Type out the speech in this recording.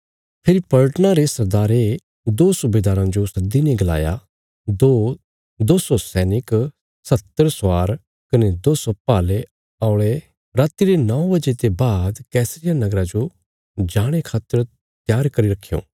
फेरी पलटना रे सरदारे दो सुबेदाराँ जो सद्दीने गलाया दो सौ सैनिक सत्तहर स्वार कने दो सौ भाले औल़े राति रे नौ बजे ते बाद कैसरिया नगरा जो जाणे खातर त्यार करी रखयों